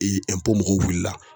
mɔgɔw wulila